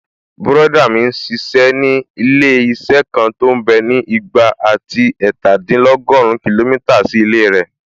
Bùrọ̀dá mi n ṣiṣẹ́ ní ilé-iṣẹ́ kan tó mbẹ́ ní ìgbà àti ẹ̀ẹ̀tàdínlọ́gùrún kìlómítà sí ilé rẹ̀